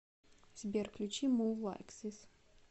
сбер включи мув лайк зис